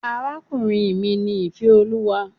Arákùnrin mi ni Ìféolúwa.